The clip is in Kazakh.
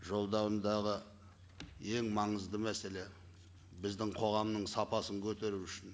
жолдауындағы ең маңызды мәселе біздің қоғамның сапасын көтеру үшін